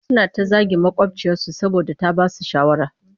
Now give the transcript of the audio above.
Suna ta zagin maƙwabciyarsu saboda ta ba su shawara